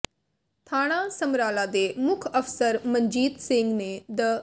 ਥਾਣਾ ਸਮਰਾਲਾ ਦੇ ਮੁੱਖ ਅਫ਼ਸਰ ਮਨਜੀਤ ਸਿੰਘ ਨੇ ਦ